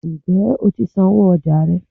njẹ o tí sánwọ ọja rẹ?